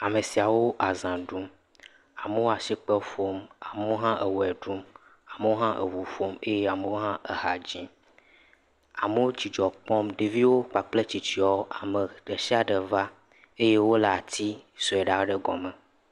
Ame siawo aza ɖum, amewo asikpe ƒom, amewo hã ewɔe ɖum, amewo hã eʋu ƒom eye amewo hã eha dzim. Amewo dzidzɔ kpɔm, ɖeviwo kpakple tsitsiawo, ame ɖe sia ɖe va eye wole ati sɔe ɖe gɔme.